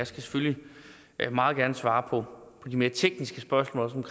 selvfølgelig meget gerne svare på de mere tekniske spørgsmål også